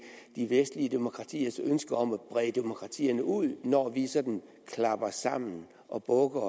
de vestlige demokratiers ønske om at brede demokratiet ud når vi sådan klapper hælene sammen og bukker